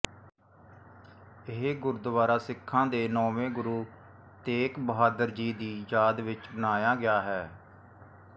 ਇਹ ਗੁਰਦੁਆਰਾ ਸਿੱਖਾਂ ਦੇ ਨੌਵੇਂ ਗੁਰੂ ਤੇਗ ਬਹਾਦੁਰ ਜੀ ਦੀ ਯਾਦ ਵਿੱਚ ਬਣਾਇਆ ਗਿਆ ਹੈ